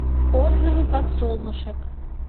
отзывы подсолнушек